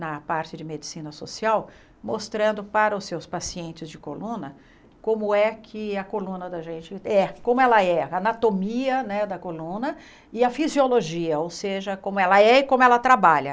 na parte de medicina social, mostrando para os seus pacientes de coluna como é que a coluna da gente é, como ela é, a anatomia né da coluna e a fisiologia, ou seja, como ela é e como ela trabalha.